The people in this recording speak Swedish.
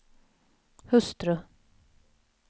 hustru